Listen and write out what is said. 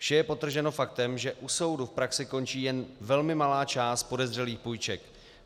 Vše je podtrženo faktem, že u soudu v praxi končí jen velmi malá část podezřelých půjček.